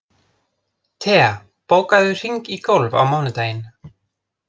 Thea, bókaðu hring í golf á mánudaginn.